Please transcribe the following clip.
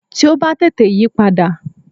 Tí ó bá tètè yípadà